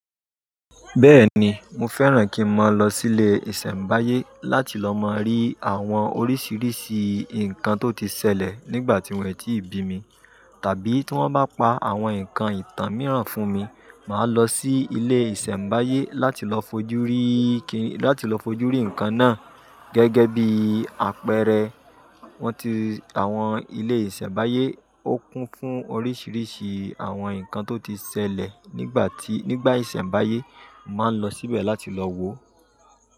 Bẹ́ẹ̀ni, mo fẹ́ràn kí n máa lọ sí ilé ìsẹ̀mbáyé láti lọ máa rí àwọn oríṣiiríṣii nǹkan tó ti ṣẹlẹ̀ nígbà tí wọ́n è tíi bí mi, tàbí tí wọ́n bá pa àwọn nǹkan ìtàn mìíràn fún mi, màá lọ sí ilé ìsẹ̀mbáyé láti lọ fojú rí kí-- láti lọ fojú rí nǹkan náà. Gẹ́gẹ́ bí àpẹẹrẹ, wọ́n ti àwọn ilé ìsẹ̀mbáyé ó kún fún oríṣiiríṣii àwọn nǹkan tó ti ṣẹlẹ̀ nígbà tí, nígbà ìsẹ̀mbáyé. Màá lọ síbẹ̀ láti lọ wò ó.